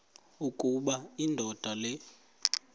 ukuba indoda le